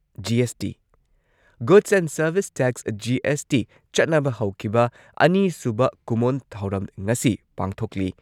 GST- goods and service tax GST ꯆꯠꯅꯕ ꯍꯧꯈꯤꯕ ꯑꯅꯤꯁꯨꯕ ꯀꯨꯝꯑꯣꯟ ꯊꯧꯔꯝ ꯉꯁꯤ ꯄꯥꯡꯊꯣꯛꯂꯤ꯫